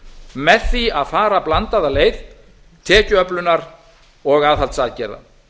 með því að fara blandaða leið tekjuöflunar og aðhaldsaðgerða